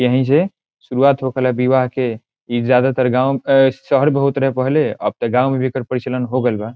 यही से शुरूवात होखेला विवाह के इ ज्यादातर गांव ए शहर बहुत रहे पहले अब ते गांव में भी एकर परिचलन हो गइल बा।